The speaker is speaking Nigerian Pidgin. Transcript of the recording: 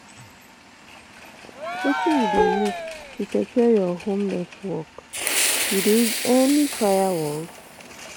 Wetin you dey use to secure your home network, you dey use any firewalls?